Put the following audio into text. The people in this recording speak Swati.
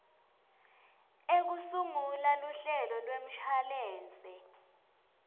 ekusungula luhlelo lwemshwalense